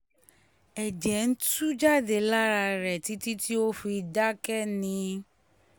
ẹ̀jẹ̀ ń tú jáde lára rẹ̀ títí tó fi dákẹ́ ni